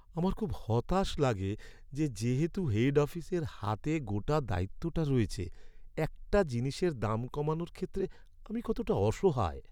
আমার খুব হতাশ লাগে যে, যেহেতু হেড অফিসের হাতে গোটা দায়িত্বটা রয়েছে; একটা জিনিসের দাম কমানোর ক্ষেত্রে আমি কতটা অসহায়!